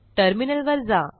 टर्मिनलवर जा